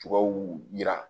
Tubabuw yira